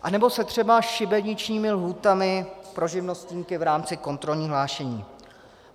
Anebo se třeba šibeničními lhůtami pro živnostníky v rámci kontrolního hlášení.